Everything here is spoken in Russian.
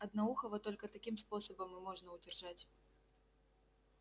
одноухого только таким способом и можно удержать